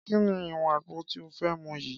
Kí ni ìwọ̀n àgbo tí ó fẹ́ mu yii?